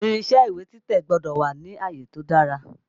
Irinṣé ìwé títẹ̀ gbọ́dọ̀ wà ni àyè tó dára.